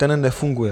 Ten nefunguje.